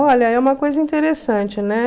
Olha, é uma coisa interessante, né?